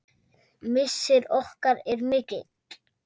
Missir okkar er mikill.